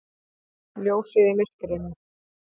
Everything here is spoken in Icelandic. Ljósið í myrkrinu!